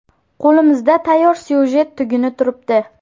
Qo‘limizda tayyor syujet tuguni turibdi.